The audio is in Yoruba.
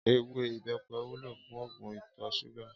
Éwé ibèpè wúló fún ógún itò ṣúgà